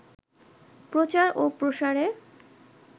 প্রচার ও প্রসারে